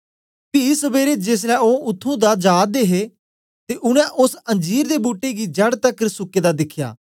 पी सबेरे जेसलै ओ उत्त्थुं दा जा दे हे ते उनै ओस अंजीर दे बूट्टे गी जड़ तकर सुके दा दिखया